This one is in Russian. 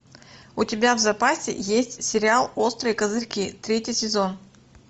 у тебя в запасе есть сериал острые козырьки третий сезон